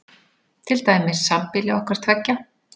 Til dæmis sambýli okkar tveggja.